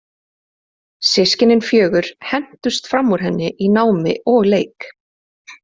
Systkinin fjögur hentust fram úr henni í námi og leik.